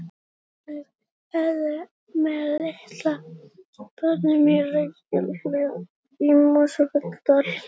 Boranir hófust með Litla bornum í Reykjahlíð í Mosfellsdal.